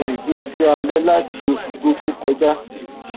mo sì ti ń ṣiṣẹ alẹ láti oṣù tó tó kọjá